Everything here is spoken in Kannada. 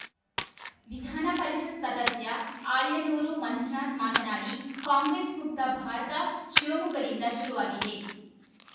ವಿಧಾನ ಪರಿಷತ್‌ ಸದಸ್ಯ ಆಯನೂರು ಮಂಜುನಾಥ್‌ ಮಾತನಾಡಿ ಕಾಂಗ್ರೆಸ್‌ ಮುಕ್ತ ಭಾರತ ಶಿವಮೊಗ್ಗದಿಂದ ಶುರುವಾಗಿದೆ